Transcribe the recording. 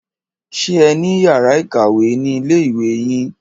Ṣé ẹ ní yàrá ìkàwé ni ilé ìwé yín?